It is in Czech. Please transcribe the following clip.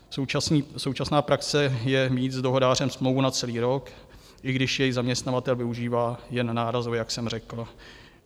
Současná praxe je mít s dohodářem smlouvu na celý rok, i když jej zaměstnavatel využívá jen nárazově, jak jsem řekl.